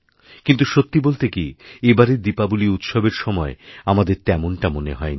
কিন্তু সত্যি বলতে কি এবারেদীপাবলি উৎসবের সময় আমাদের তেমনটা মনে হয় নি